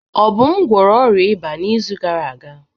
Obum gwọrọ ọrịa ịba n'izu gara aga.